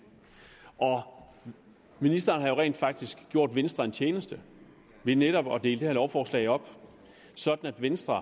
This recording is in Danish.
ministeren har jo rent faktisk gjort venstre en tjeneste ved netop at dele det her lovforslag op sådan at venstre